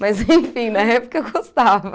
Mas, enfim, na época eu gostava.